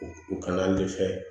U kana an dɛsɛ